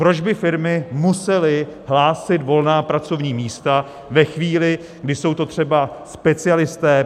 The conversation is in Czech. Proč by firmy musely hlásit volná pracovní místa ve chvíli, kdy jsou to třeba specialisté?